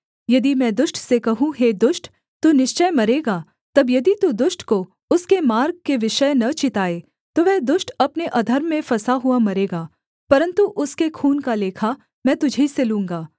यदि मैं दुष्ट से कहूँ हे दुष्ट तू निश्चय मरेगा तब यदि तू दुष्ट को उसके मार्ग के विषय न चिताए तो वह दुष्ट अपने अधर्म में फँसा हुआ मरेगा परन्तु उसके खून का लेखा में तुझी से लूँगा